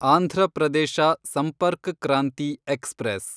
Andhra Pradesh Sampark Kranti express